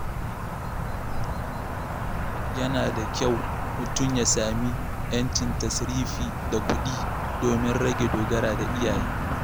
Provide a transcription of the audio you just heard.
Yana da kyau mutum ya sami ‘yancin tasrifi da kuɗi domin rage dogara da iyaye.